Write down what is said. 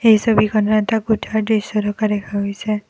এই ছবিখনত এটা কোঠাৰ দৃশ্য থকা দেখা গৈছে।